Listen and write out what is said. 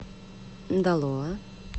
далоа